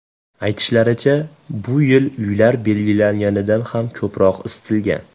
Aytishlaricha, bu yil uylar belgilanganidan ham ko‘proq isitilgan.